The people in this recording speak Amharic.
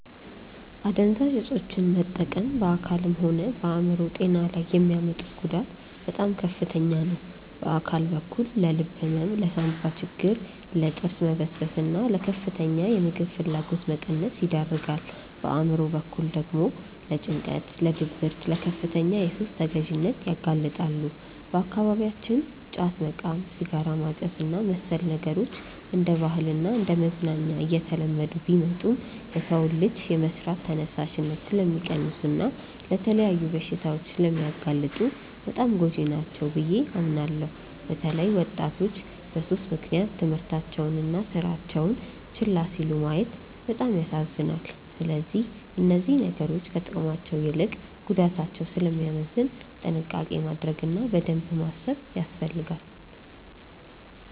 አደንዛዥ እፆችን መጠቀም በአካልም ሆነ በአእምሮ ጤና ላይ የሚያመጡት ጉዳት በጣም ከፍተኛ ነው። በአካል በኩል ለልብ ህመም፣ ለሳንባ ችግር፣ ለጥርስ መበስበስና ለከፍተኛ የምግብ ፍላጎት መቀነስ ይዳርጋል። በአእምሮ በኩል ደግሞ ለጭንቀት፣ ለድብርትና ለከፍተኛ የሱስ ተገዢነት ያጋልጣሉ። በአካባቢያችን ጫት መቃም፣ ሲጋራ ማጨስና መሰል ነገሮች እንደ ባህልና እንደ መዝናኛ እየተለመዱ ቢመጡም፣ የሰውን ልጅ የመስራት ተነሳሽነት ስለሚቀንሱና ለተለያዩ በሽታዎች ስለሚያጋልጡ በጣም ጎጂ ናቸው ብዬ አምናለሁ። በተለይ ወጣቶች በሱስ ምክንያት ትምህርታቸውንና ስራቸውን ችላ ሲሉ ማየት በጣም ያሳዝናል። ስለዚህ እነዚህ ነገሮች ከጥቅማቸው ይልቅ ጉዳታቸው ስለሚያመዝን ጥንቃቄ ማድረግ እና በደንብ ማሰብ ያስፈልጋል።